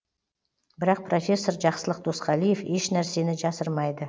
бірақ профессор жақсылық досқалиев ешнәрсені жасырмайды